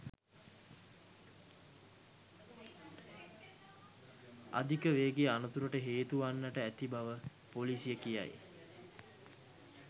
අධික වේගය අනතුරට හේතු වන්නට ඇති බව ‍පොලිසිය කියයි